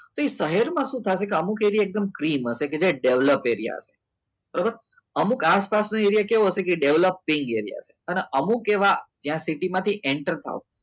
તો એ શહેરમાં શું થશે અમુક એરીયા ક્લીના છે જે develop એરીયા આવશે બરાબર અમુક આસપાસનું એરિયા કેવો હશે એ develop ની હોય અને અમુક એવા જ્યાં સીટીમાંથી enter થાવ